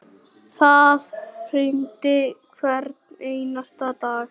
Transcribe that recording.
Það rigndi hvern einasta dag.